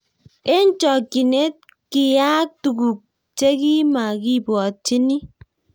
eng chokchinet kiyayak tuguk chegimagibwatyini